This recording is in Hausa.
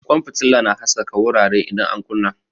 Kwan fitila na haskaka wurare idan an kunna.